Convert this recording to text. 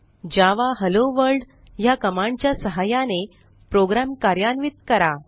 जावा hello world ह्या कमांडच्या सहाय्याने प्रोग्रॅम कार्यान्वित करा